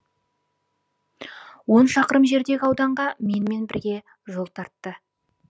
он шақырым жердегі ауданға менімен бірге жол тартты